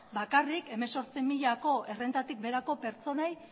bakarrik hemezortzi milako errentatik beherako pertsonei